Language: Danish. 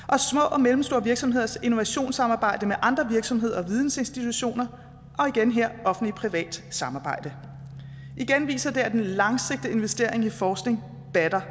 og mellemstore virksomheders innovationssamarbejde med andre virksomheder og vidensinstitutioner og igen her offentligt privat samarbejde igen viser det at den langsigtede investering i forskning batter